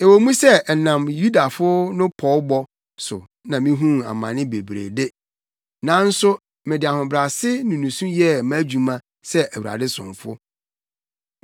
Ɛwɔ mu sɛ ɛnam Yudafo no pɔwbɔ so ma mihuu amane bebree de, nanso mede ahobrɛase ne nusu yɛɛ mʼadwuma sɛ Awurade somfo.